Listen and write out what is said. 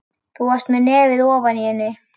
Þú varst með nefið ofan í henni.